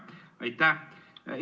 Aitäh!